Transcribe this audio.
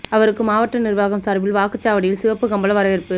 அவருக்கு மாவட்ட நிர்வாகம் சார்பில் வாக்குச் சாவடியில் சிவப்பு கம்பள வரவேற்பு